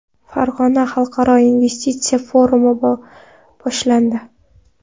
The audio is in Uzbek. Farg‘onada xalqaro investitsiya forumi boshlandi .